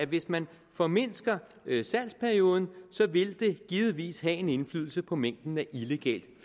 hvis man formindsker salgsperioden vil det givetvis have en indflydelse på mængden af illegalt